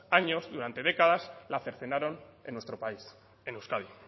años durante décadas la cercenaron en nuestro país en euskadi